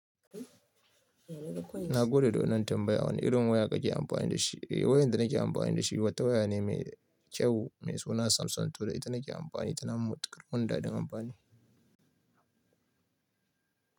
Na gode da wanan tambaya. Wane irin waya kake amfani da shi? Wayar da nake amfani da shi wata waya ne mai kyau mai suna Samsung to da ita nake amfani tana matukar mun dadin amfani.